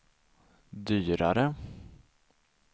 dyrare